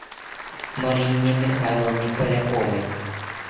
марине михайловне поляковой